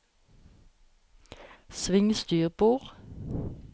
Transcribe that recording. sving styrbord